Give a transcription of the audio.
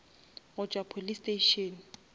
go tšwa police station